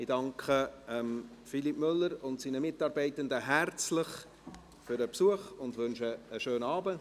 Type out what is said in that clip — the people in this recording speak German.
Ich danke Philippe Müller und seinen Mitarbeitenden herzlich für den Besuch und wünsche einen schönen Abend.